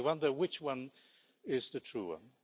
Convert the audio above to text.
I wonder which one is the true one.